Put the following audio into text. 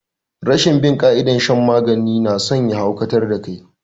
Rashin bin ƙa'idar shan magani nason ya haukata da kai